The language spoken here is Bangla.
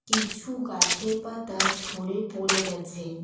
কিছু গাছের পাতা ঝরে পড়ে গেছে।